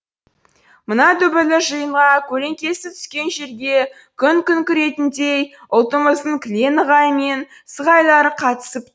мына дүбірлі жиынға көлеңкесі түскен жерге күн күркірейтіндей ұлтымыздың кілең ығай мен сығайлары қатысып